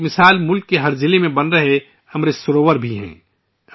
اس کی ایک مثال ملک کے ہر ضلع میں بنایا جا رہا ' امرت سروور ' ہے